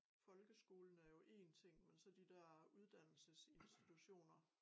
Folkeskolen er jo én ting men så de dér uddannelsesinstitutioner